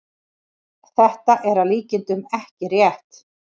Þetta er að líkindum ekki rétt.